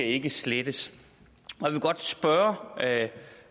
ikke slettes jeg vil godt spørge